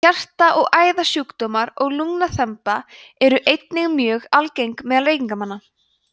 hjarta og æðasjúkdómar og lungnaþemba eru einnig mjög algeng meðal reykingamanna